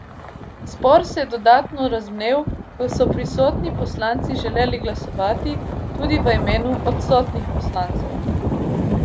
Spor se je dodatno razvnel, ko so prisotni poslanci želeli glasovati tudi v imenu odstotnih poslancev.